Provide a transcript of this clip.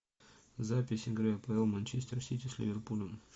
запись игры апл манчестер сити с ливерпулем